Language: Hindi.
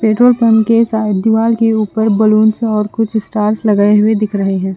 पेट्रोल पंप के सायद दीवार के उपर ब्लुन्स और कुछ स्टार्स लगे हुए दिख रहे है।